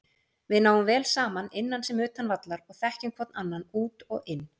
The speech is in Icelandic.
Við náum vel saman innan sem utan vallar og þekkjum hvorn annan út og inn.